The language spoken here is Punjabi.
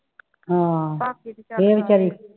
ਹਾ ਇਹ ਵਿਚਾਰੀ